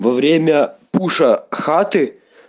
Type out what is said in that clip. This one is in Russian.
во время пуша хаты